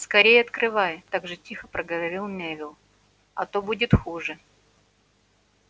скорее открывай так же тихо проговорил невилл а то будет хуже